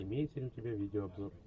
имеется ли у тебя видеообзор